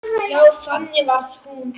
Já, þannig var hún.